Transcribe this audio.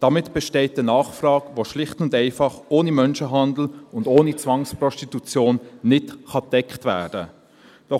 Damit besteht eine Nachfrage, die ohne Menschenhandel und ohne Zwangsprostitution schlicht und einfach nicht gedeckt werden kann.